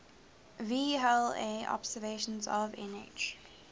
vla observations of nh